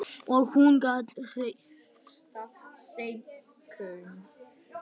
Og hún gat treyst Steinku.